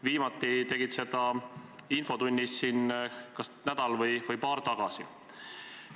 Viimati tegid sa seda siin infotunnis kas nädal või paar tagasi.